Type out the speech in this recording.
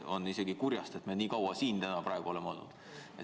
On isegi kurjast, et me nii kaua siin täna oleme olnud.